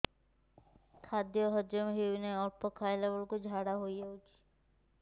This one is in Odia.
ଖାଦ୍ୟ ହଜମ ହେଉ ନାହିଁ ଅଳ୍ପ ଖାଇଲା ବେଳକୁ ଝାଡ଼ା ହୋଇଯାଉଛି